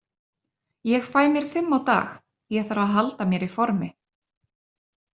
Ég fæ mér fimm á dag, ég þarf að halda mér í formi.